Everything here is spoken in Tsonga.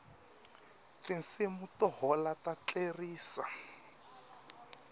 tinsimu to hola ta tlerisa